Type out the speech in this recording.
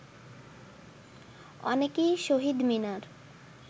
অনেকেই শহীদ মিনার